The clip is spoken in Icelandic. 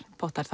pottar